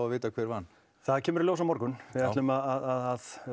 að vita hver vann það kemur í ljós á morgun við ætlum að